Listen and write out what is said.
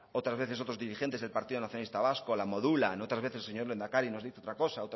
otras veces otros dirigentes del partido nacionalista vasco la modulan otras veces el señor lehendakari nos dice otra cosa